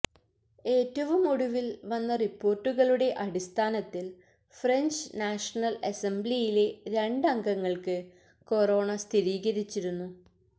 ഏറ്റവും ഒടുവിൽ വന്ന റിപ്പോർട്ടുകളുടെ അടിസ്ഥാനത്തിൽ ഫ്രഞ്ച് നാഷണൽ അസംബ്ലിയിലെ രണ്ട് അംഗങ്ങൾക്ക് കൊറോണ സ്ഥിരീകരിച്ചിരുന്നു